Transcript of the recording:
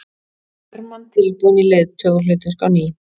Hermann tilbúinn í leiðtogahlutverk á ný